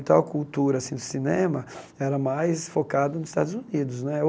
Então a cultura assim do cinema era mais focada nos Estados Unidos ou.